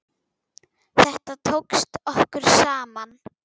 Þetta tókst okkur saman.